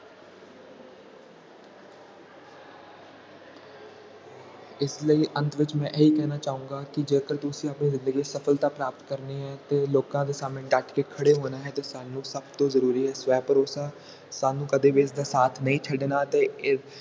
ਇਸ ਲਈ ਅੰਤ ਵਿਚ ਮੈਂ ਇਹੀ ਕਹਿਣਾ ਚਾਹੁੰਦਾ ਕਿ ਜੇ ਤੁਸੀਂ ਆਪਣੇ ਜ਼ਿੰਦਗੀ ਚ ਸਫਲਤਾ ਪ੍ਰਾਪਤ ਕਰਨੀ ਹੈ ਤੇ ਲੋਕਾਂ ਦੇ ਸਾਮਣੇ ਡੱਟ ਕੇ ਖੜੇ ਹੋਣਾ ਹੈ ਤਾ ਸਾਨੂੰ ਸਭ ਤੋਂ ਜ਼ਰੂਰੀ ਹੈ ਸਵੈ ਭਰੋਸਾ ਸਾਨੂ ਕਦੇ ਵੀ ਇਸਦਾ ਸਾਥ ਨਹੀਂ ਛਡਣਾ ਤੇ ਇਹ